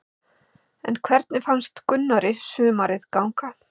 En hvernig fannst Gunnari sumarið ganga?